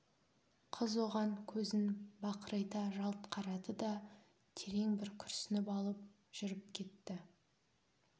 қыз оған көзін бақырайта жалт қарады да терең бір күрсініп алып жүріп кетті